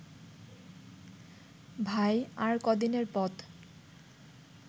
ভাই, আর কদিনের পথ